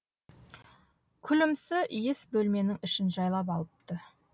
күлімсі иіс бөлменің ішін жайлап алыпты